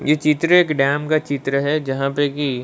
ये चित्र एक डैम का चित्र है जहाँ पे की--